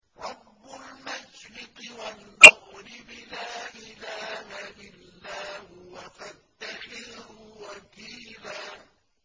رَّبُّ الْمَشْرِقِ وَالْمَغْرِبِ لَا إِلَٰهَ إِلَّا هُوَ فَاتَّخِذْهُ وَكِيلًا